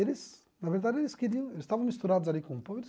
Eles, na verdade, eles queriam, eles estavam misturados ali com o povo,